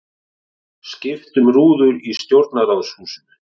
Skipt um rúður í Stjórnarráðshúsinu